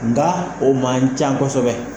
Nka o ma can kosɛbɛ